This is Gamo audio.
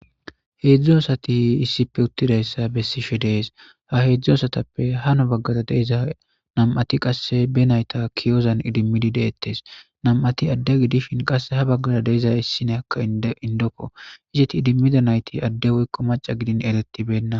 heedzdzo asati issipe uttidayssa bessishe dees ha heedzdzo asatappe hano baggara deeza nam7ati qasse be nayta kiyozan idimmidi deettes nam7ati adde gidishin qasse ha baggara deeza issine aka indokko izeti idimmida nayti adde woykko maca gidin eretibenna